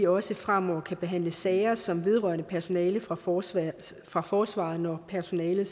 også fremover kan behandle sager som vedrører personale fra forsvaret fra forsvaret når personalet